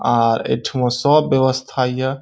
आर एठमा सब व्यवस्था या।